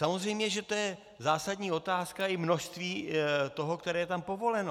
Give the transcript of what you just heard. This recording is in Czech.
Samozřejmě že to je zásadní otázka i množství toho, které je tam povoleno.